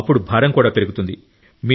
అప్పుడు భారం కూడా పెరుగుతుంది